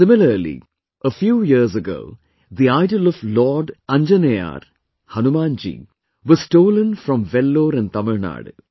Similarly, a few years ago the idol of Lord Anjaneyaar, Hanuman ji was stolen from Vellore in Tamil Nadu